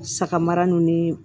Saga mara ni